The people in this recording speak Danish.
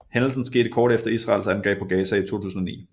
Hændelsen skete kort efter Israels angreb på Gaza i 2009